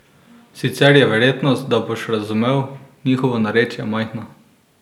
Sicer je verjetnost, da boš razumel njihovo narečje majhna.